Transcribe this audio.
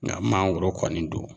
Nga mangoro kɔni don